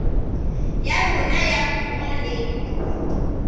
ya rona ya puo le